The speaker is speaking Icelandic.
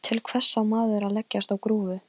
Framundan var löng og brött brekka.